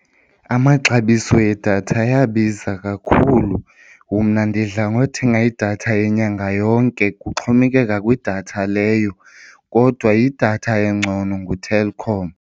Amaxabiso edatha ayabiza kakhulu. Mna ndidla ngothenga idatha yenyanga yonke, kuxhomekeka kwidatha leyo. Kodwa idatha engcono nguTelkom.